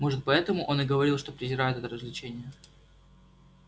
может поэтому он и говорил что презирает это развлечение